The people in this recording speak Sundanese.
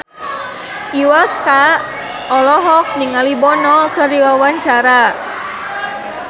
Iwa K olohok ningali Bono keur diwawancara